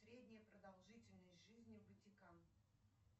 средняя продолжительность жизни ватикан